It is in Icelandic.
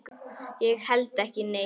Ég held ekki neitt.